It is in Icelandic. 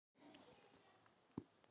Þessi afbrigði æxlast lítt eða ekki saman.